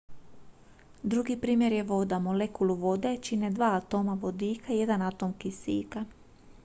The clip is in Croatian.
drugi primjer je voda molekulu vode čine dva atoma vodika i jedan atom kisika